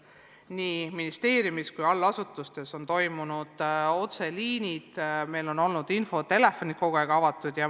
Nii ministeeriumis kui ka allasutustes on toiminud otseliinid, infotelefonid on olnud kogu aeg avatud.